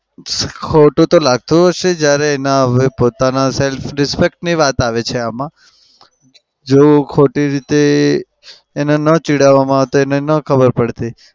ખોટું તો લાગતું હશે જ્યારે એના પોતાના self respect ની વાત આવે છે આમાં. જો ખોટી રીતે એને ન ચીડવામાં આવે તો એને ન ખબર પડતી.